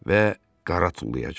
Və qara tullayacaq.